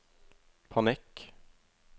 panikk